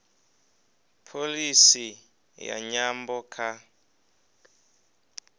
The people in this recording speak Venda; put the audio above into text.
pholisi ya nyambo kha